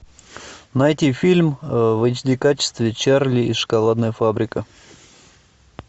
найти фильм в эйч ди качестве чарли и шоколадная фабрика